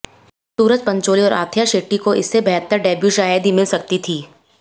सूरज पंचोली और अथिया शेट्टी को इससे बेहतर डेब्यू शायद ही मिल सकती थी